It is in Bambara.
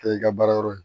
Kɛ i ka baara yɔrɔ ye